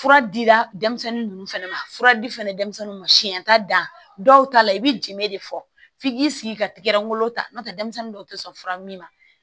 Fura dira denmisɛnnin ninnu fana ma fura di fɛnɛ denmisɛnninw ma siɲɛ t'a dan dɔw ta la i bɛ jɛn de fɔ f'i k'i sigi ka tigɛrɛn wolo ta n'o tɛ denmisɛnnin dɔw tɛ sɔn fura min ma